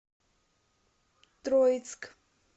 троицк